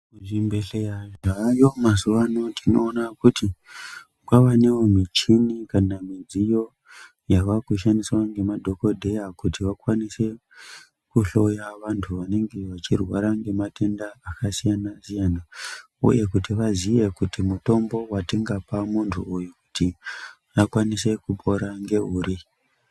Zvibhehleya zvaayo mazuwa ano tinoona kuti kwavanewo michini kana midziyo yavakushandiswa ngemadhokodheya kuti vakwanise kuhloya vantu vanenge vachirwara ngematenda aksiyanasiyana uye kuti vaziye kuti mutombo watingape muntu uyu kuti akwanise kupora ngeuri.